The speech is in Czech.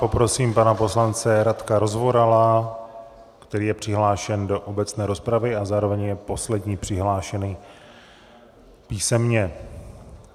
Poprosím pana poslance Radka Rozvorala, který je přihlášen do obecné rozpravy a zároveň je poslední přihlášený písemně.